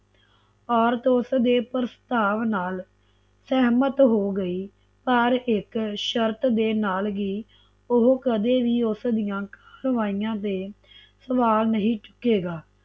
ਔਰਤ ਉਸਦੇ ਪ੍ਰਸਤਾਵ ਨਾਲ ਸਹਿਮਤ ਹੋ ਗਈ ਪਰ ਇਕ ਸ਼ਰਤ ਦੇ ਨਾਲ ਹੀ ਓਹ ਕਦੇ ਵੀ ਉਸਦੀਆਂ ਕਰਵਾਇਆ ਤੇ ਸਵਾਲ ਨਹੀਂ ਚੁੱਕੇਗਾ